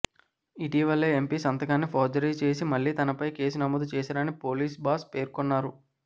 ఇటీవలే ఎంపీ సంతకాన్ని ఫోర్జరీ చేసి మళ్ళీ తనపై కేసు నమోదు చేశారని పోలీస్ బాస్ పేర్కొన్నారు